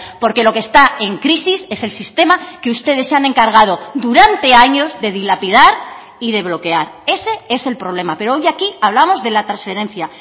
porque lo que está en crisis es el sistema que ustedes se han encargado durante años de dilapidar y de bloquear ese es el problema pero hoy aquí hablamos de la transferencia